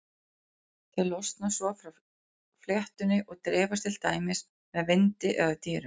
Þau losna svo frá fléttunni og dreifast til dæmis með vindi eða dýrum.